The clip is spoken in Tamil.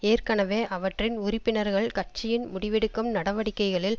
ஏற்கனவே அவற்றின் உறுப்பினர்கள் கட்சியின் முடிவெடுக்கும் நடவடிக்கைகளில்